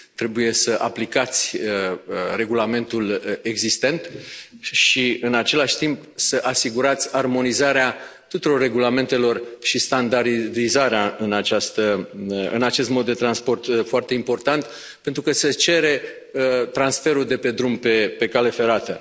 Trebuie să aplicați regulamentul existent și, în același timp, să asigurați armonizarea tuturor regulamentelor și standardizarea în acest mod de transport foarte important, pentru că se cere transferul de pe drum, pe cale ferată.